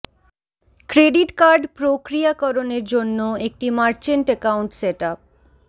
credit card প্রক্রিয়াকরণের জন্য একটি মার্চেন্ট অ্যাকাউন্ট সেট আপ